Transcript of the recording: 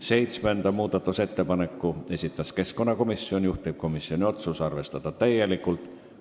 Seitsmenda muudatusettepaneku on esitanud keskkonnakomisjon, juhtivkomisjoni otsus on arvestada täielikult.